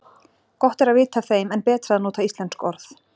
Gott er að vita af þeim en betra að nota íslensk orð.